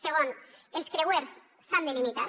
segon els creuers s’han de limitar